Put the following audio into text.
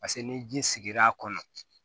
Paseke ni ji sigir'a kɔnɔ